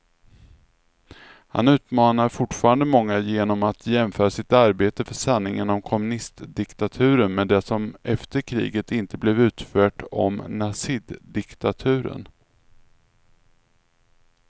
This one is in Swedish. Han utmanar fortfarande många genom att jämföra sitt arbete för sanningen om kommunistdiktaturen med det som efter kriget inte blev utfört om nazidiktaturen.